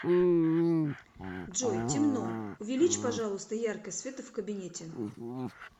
джой темно увеличь пожалуйста яркость света в кабинете